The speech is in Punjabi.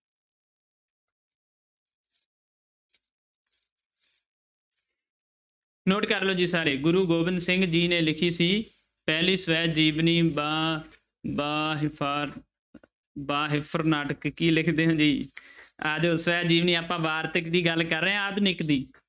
Note ਕਰ ਲਓ ਜੀ ਸਾਰੇ ਗੁਰੂ ਗੋਬਿੰਦ ਸਿੰਘ ਜੀ ਨੇ ਲਿਖੀ ਸੀ ਪਹਿਲੀ ਸਵੈ ਜੀਵਨੀ ਬਾ ਬਾ ਬਾ ਕੀ ਲਿਖਦੇ ਆ ਜਾਓ ਸਵੈ ਜੀਵਨੀ ਆਪਾਂ ਵਾਰਤਕ ਦੀ ਗੱਲ ਕਰ ਰਹੇ ਹਾਂ ਆਧੁਨਿਕ ਦੀ।